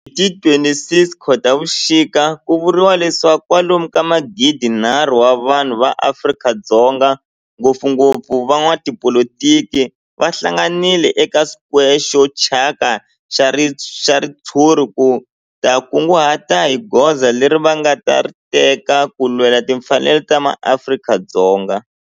Hi ti 26 Khotavuxika ku vuriwa leswaku kwalomu ka magidi-nharhu wa vanhu va Afrika-Dzonga, ngopfungopfu van'watipolitiki va hlanganile eka square xo thyaka xa ritshuri ku ta kunguhata hi goza leri va nga ta ri teka ku lwela timfanelo ta maAfrika-Dzonga.